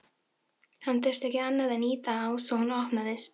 Hann þurfti ekki annað en ýta á svo hún opnaðist.